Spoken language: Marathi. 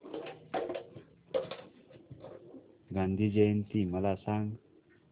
गांधी जयंती मला सांग